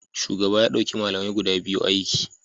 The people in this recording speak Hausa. Shugaba ya dauki malamai guda biyu aiki